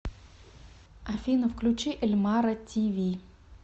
афина включи эльмара ти ви